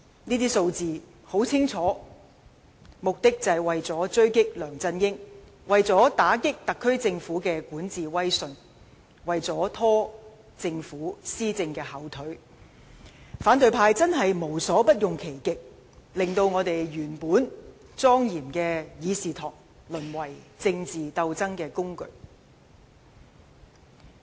這些數字很清楚，目的就是為了狙擊梁振英，為了打擊特首政府的管治威信，為了拖政府施政的後腿，反對派真是無所不用其極，令原本莊嚴的議事堂淪為政治鬥爭工具。